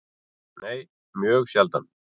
Nei, mjög sjaldan.